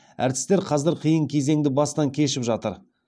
әртістер қазір қиын кезеңді бастан кешіп жатыр